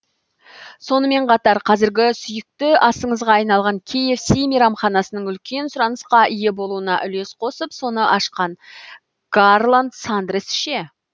сонымен қатар қазіргі сүйікті асыңызға айналған кғс мейрамханасының үлкен сұранысқа ие болуына үлес қосып соны ашқан гарланд сандерс ше